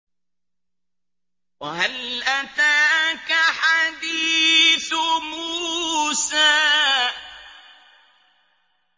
وَهَلْ أَتَاكَ حَدِيثُ مُوسَىٰ